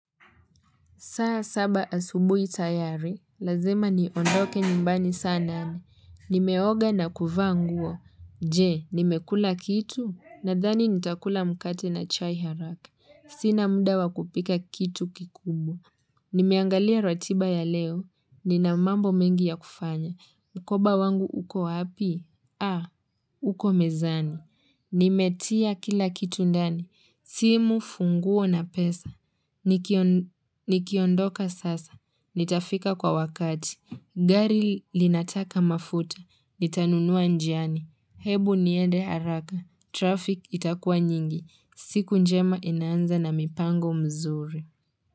Saa saba asubui tayari, lazima ni ondoke nyumbani saa nane. Nimeoga na kuvaa nguo. Je, nimekula kitu? Nadhani nitakula mkate na chai haraka. Sina muda wa kupika kitu kikubwa. Nimeangalia ratiba ya leo. Nina mambo mengi ya kufanya. Mkoba wangu uko wapi? Ah, uko mezani. Nimetia kila kitu ndani. Simu, funguo na pesa. Nikiondoka sasa. Nitafika kwa wakati. Gari linataka mafuta. Nitanunua njiani. Hebu niende haraka. Traffic itakua nyingi. Siku njema inaanza na mipango mzuri.